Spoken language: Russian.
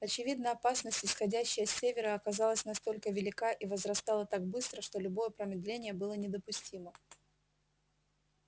очевидно опасность исходящая с севера оказалась настолько велика и возрастала так быстро что любое промедление было недопустимо